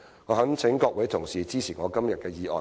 我懇請各位同事支持我今天的議案。